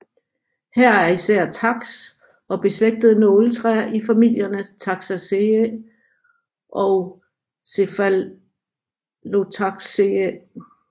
Her er især taks og beslægtede nåletræer i familierne Taxaceae og Cephalotaxaceae